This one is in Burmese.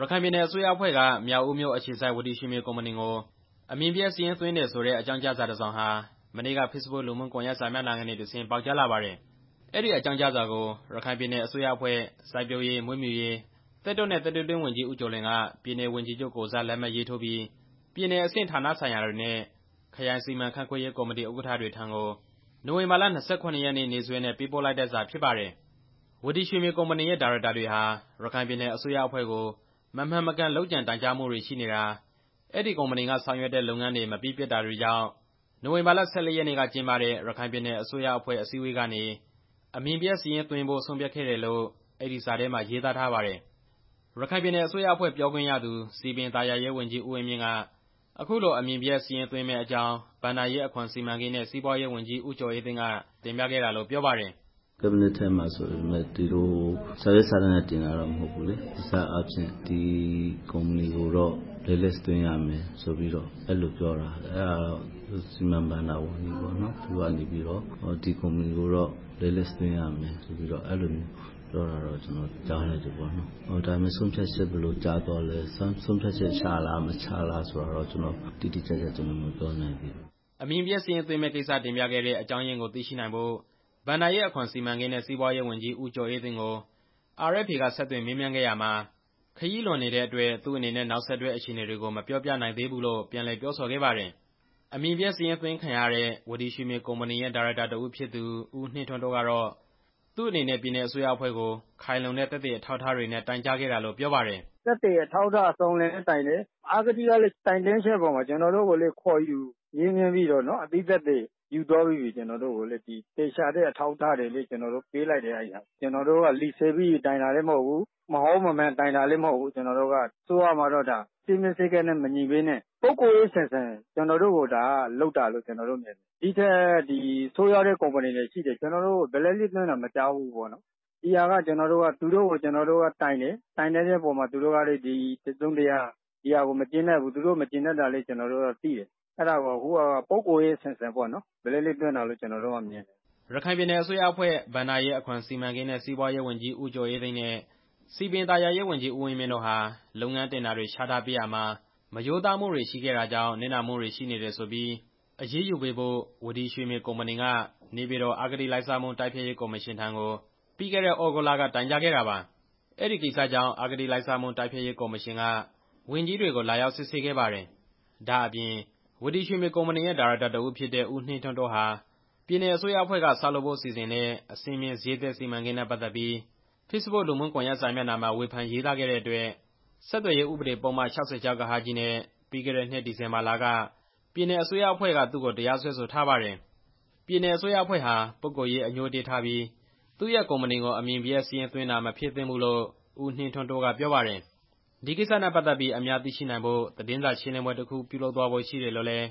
ရခိုင်ပြည်နယ်အစိုးရအဖွဲ့က မြောက်ဦးအခြေစိုက် ဝတီရွှေမြေကုမ္ပဏီကို အမည်ပျက်စာရင်းသွင်းတယ်ဆိုတဲ့ အကြောင်းကြားစာတစ်စောင်ဟာ မနေ့က ဖေ့စ်ဘွတ်လူမှုကွန်ရက် စာမျက်နှာကနေတဆင့် ပေါက်ကြားလာပါတယ်။ အဲဒီအကြောင်းကြားစာကို ရခိုင်ပြည်နယ်အစိုးရအဖွဲ့ စိုက်ပျိုးရေး၊ မွေးမြူရေး၊ သစ်တောနဲ့ သတ္တုတွင်းဝန်ကြီး ဦးကျော်လွင်က ပြည်နယ်ဝန်ကြီးချုပ်ကိုယ်စား လက်မှတ်ရေးထိုးပြီး ပြည်နယ်အဆင့်ဌာနဆိုင်ရာတွေနဲ့ ခရိုင်စီမံခန့်ခွဲရေးကော်မတီ ဥက္ကဋ္ဌတွေထံကို နိုဝင်ဘာလ ၂၇ ရက်နေ့စွဲနဲ့ ပေးပို့လိုက်တဲ့စာဖြစ်ပါတယ်။ ဝတီရွှေမြေကုမ္ပဏီရဲ့ ဒါရိုက်တာတွေဟာ ရခိုင်ပြည်နယ်အစိုးရအဖွဲ့ကို မမှန်မကန် လုပ်ကြံတိုင်ကြားမှုတွေရှိနေတာ၊ အဲဒီကုမ္ပဏီက ဆောင်ရွက်တဲ့လုပ်ငန်းတွေ မပြီးပြတ်တာတွေကြောင့် နိုဝင်ဘာလ ၁၄ ရက်နေ့ကကျင်းပတဲ့ ပြည်နယ်အစိုးရ အဖွဲ့အစည်းအဝေးကနေ အမည်ပျက်စာရင်းအဖြစ်သွင်းဖို့ ဆုံးဖြတ်ခဲ့တယ်လို့ အဲဒီစာထဲမှာ ရေးသားထားပါတယ်။ ရခိုင်ပြည်နယ်အစိုးရအဖွဲ့ ပြောခွင့်ရသူ စည်ပင်သာယာရေးဝန်ကြီး ဦးဝင်းမြင့်က အခုလိုအမည်ပျက်စာရင်း သွင်းမယ့်အကြောင်း ဘဏ္ဍာရေး၊ အခွန်၊ စီမံကိန်းနဲ့ စီးပွားရေးဝန်ကြီး ဦးကျော်အေးသိန်းက တင်ပြခဲ့တာ လို့ပြောပါတယ်။ "အစည်းအဝေးထဲမှာဆိုပေမယ့် စာရွက်စာတမ်းတွေနဲ့ တင်တာတော့ မဟုတ်ဘူး။ အပြောနဲ့ ဒီကုမ္ပဏီကိုတော့ အမည်ပျက်စာရင်းသွင်းရမယ်ဆိုပြီးတော့ ပြောတာ။ အဲဒါကတော့ စီမံ၊ ဘဏ္ဍာဝန်ကြီးပေါ့နော်၊ သူက ဒီကုမ္ပဏီကိုတော့ အမည်ပျက်စာရင်း သွင်းရမယ်လို့ပြောတာကို ကျနော်ကြားလိုက်တယ်။ ဒါပေမဲ့ ဆုံးဖြတ်ချက် ဘယ်လိုချခဲ့တယ်ဆိုတာကိုတော့ ကျနော်မပြောနိုင်သေးဘူး" အမည်ပျက်စာရင်းသွင်းမယ့်ကိစ္စ တင်ပြခဲ့တဲ့ အကြောင်းရင်းတွေကိုသိရှိနိုင်ဖို့ ဘဏ္ဍာရေး၊ အခွန်၊ စီမံကိန်းနဲ့ စီးပွားရေးဝန်ကြီး ဦးကျော်အေးသိန်းကို RFA က ဆက်သွယ်မေးမြန်းခဲ့ရာမှာ ခရီးလွန်နေတဲ့အတွက် သူ့အနေနဲ့ နောက်ဆက်တွဲ အခြေအနေတွေကို မပြောပြနိုင်သေးဘူးလို့ ပြန်လည်ပြောဆိုခဲ့ပါတယ်။ အမည်ပျက်စာရင်းသွင်းခံရတဲ့ ဝတီရွှေမြေကုမ္ပဏီရဲ့ ဒါရိုက်တာတစ်ဦးဖြစ်သူ ဦးနှင်းထွန်းတိုး ကတော့ သူ့အနေနဲ့ ပြည်နယ်အစိုးရအဖွဲ့ကို ခိုင်လုံတဲ့ သက်သေအထောက်အထားတွေနဲ့ တိုင်ကြားခဲ့တာလို့ပြောပါတယ်။ "သက်သေအထောက်အထား အစုံအလင်နဲ့တိုင်တယ်။ အဂတိကော်မရှင်ကလည်း တိုင်ကြားချက်အပေါ်မှာ ကျနော်တို့ကိုခေါ်ယူမေးမြန်းပြီးတော့ အသိသက်သေတွေလည်းယူသွားပြီးပြီ။ အဲဒီမှာ သေချာတဲ့အထောက် အထားတွေကိုလည်း ကျနော်တို့ပေးလိုက်တယ်။ ကျနော်တို့က လီဆယ်ပြီး တိုင်တာလည်းမဟုတ်ဘူး၊ မဟုတ်မမှန် တိုင်တာလည်းမဟုတ်ဘူး။ အစိုးရမှာတော့ စည်းမျဉ်းစည်းကမ်းတွေနဲ့မညီဘဲနဲ့ ပုဂ္ဂိုလ်ရေးဆန်ဆန် ကျနော်တို့ကိုလုပ်တာလို့မြင်တယ်။ ဒီထက်ဆိုးရွားတဲ့ကုမ္ပဏီတွေရှိတယ် အမည်ပျက်စာရင်းသွင်းတာ မကြား မိဘူး။ ဒီကိစ္စကတော့ သူတို့ကို ကျနော်တို့ကတိုင်တယ်၊ တိုင်တန်းတဲ့အပေါ်မှာလည်း သူတို့ကတစ်စုံတစ်ရာ မကျေနပ်ဘူး။ သူတို့မကျေနပ်တာကိုလည်း ကျနော်တို့ကသိတယ်။ အဲဒါကို အခုက ပုဂ္ဂိုလ်ရေးဆန်ဆန် အမည်ပျက်သွင်းတာလို့ ကျနော်တို့ကမြင်တယ်" ရခိုင်ပြည်နယ်အစိုးရအဖွဲ့ ဘဏ္ဍာရေး၊ အခွန်စီမံကိန်းနဲ့ စီးပွားရေးဝန်ကြီး ဦးကျော်အေးသိန်းနဲ့ စည်ပင်သာယာရေး ဝန်ကြီး ဦးဝင်းမြင့်တို့ဟာ လုပ်ငန်းတင်ဒါတွေချပေးရာမှာ မရိုးသားမှုတွေရှိခဲ့တာကြောင့် နစ်နာမှုတွေရှိနေတယ်ဆိုပြီး အရေးယူပေးဖို့ ဝတီရွှေမြေကုမ္ပဏီက နေပြည်တော် အဂတိလိုက်စားမှု တိုက်ဖျက်ရေးကော်မရှင်ထံ ပြီးခဲ့တဲ့ သြဂုတ်လက တိုင်ကြားခဲ့တာပါ။ အဲဒီကိစ္စကြောင့် အဂတိလိုက်စားမှု တိုက်ဖျက်ရေးကော်မရှင်က ဝန်ကြီးတွေကို လာရောက်စစ်ဆေးခဲ့ပါတယ်။ ဒါ့အပြင် ဝတီရွှေမြေကုမ္ပဏီရဲ့ ဒါရိုက်တာတစ်ဦးဖြစ်တဲ့ ဦးနှင်းထွန်းတိုးဟာ ပြည်နယ်အစိုးရအဖွဲ့က ဆောက်လုပ်ဖို့စီစဉ်တဲ့ အဆင့်မြင့်ဈေးသစ်စီမံကိန်းနဲ့ ပတ်သက်ပြီး ဖေ့စ်ဘွတ်လူမှုကွန်ရက်စာမျက်နှာမှာ ဝေဖန်ရေးသားခဲ့တဲ့အတွက် ဆက်သွယ်ရေးဥပဒေပုဒ်မ- ၆၆(ဃ)နဲ့ ပြီးခဲ့တဲ့နှစ် ဒီဇင်ဘာလက ပြည်နယ်အစိုးရအဖွဲ့က သူ့ကိုတရားစွဲဆိုထားပါတယ်။ ပြည်နယ်အစိုးရအဖွဲ့ဟာ ပုဂ္ဂိုလ်ရေး အငြိုးအတေးထားပြီး သူ့ရဲ့ ကုမ္ပဏီကို အမည်ပျက်စာရင်းသွင်းတာ မဖြစ်သင့်ဘူးလို့ ဦးနှင်းထွန်းတိုး ကပြောပါတယ်။ ဒီကိစ္စနဲ့ပတ်သက်ပြီး အများသိရှိနိုင်ဖို့ သတင်းစာရှင်းလင်းပွဲတစ်ခု လုပ်သွားဖို့ရှိတယ်လို့လည်း